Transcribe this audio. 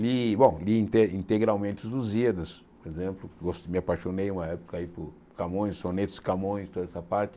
E bom, li inte integralmente os Lusíadas, por exemplo, gos me apaixonei uma época aí por Camões, sonetos de Camões, toda essa parte.